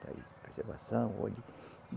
Preservação.